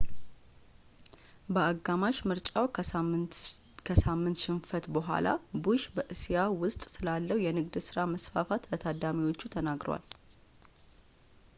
በአጋማሽ ምርጫው ከሳምንት ሽንፈት ቡሃላ ቡሽ በእስያ ውስጥ ስላለው የንግድ ሥራ መስፋፋት ለታዳሚዎች ተናግሯል